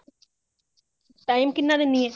time ਕਿੰਨਾ ਦੇਂਦੀ ਹੈ